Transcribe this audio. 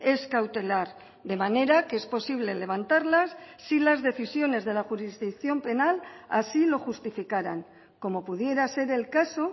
es cautelar de manera que es posible levantarlas si las decisiones de la jurisdicción penal así lo justificaran como pudiera ser el caso